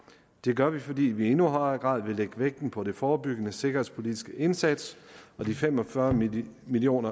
det gør vi fordi vi i endnu højere grad vil lægge vægten på den forebyggende sikkerhedspolitiske indsats de fem og fyrre million million